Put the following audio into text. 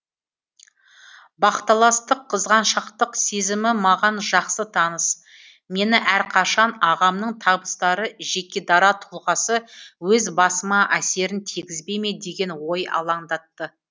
бақталастық қызғаншақтық сезімі маған жақсы таныс мені әрқашан ағамның табыстары жеке дара тұлғасы өз басыма әсерін тигізбей ме деген ой алаңдатты